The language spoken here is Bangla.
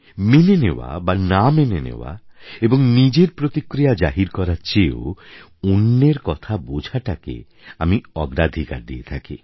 মেনে নেওয়া বা না মেনে নেওয়া এবং নিজের প্রতিক্রিয়া জাহির করার চেয়েও অন্যের কথা বোঝাটাকে আমার অগ্রাধিকার দিয়ে থাকি